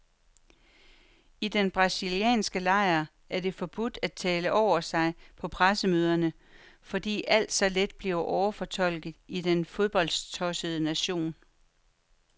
I den brasilianske lejr er det forbudt at tale over sig på pressemøderne, fordi alt så let bliver overfortolket i den fodboldtossede nation.